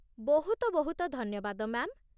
ବହୁତ ବହୁତ ଧନ୍ୟବାଦ, ମ୍ୟା'ମ୍ ।